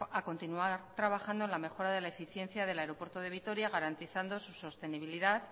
a continuar trabajando en la mejora de la eficiencia del aeropuerto de vitoria garantizando su sostenibilidad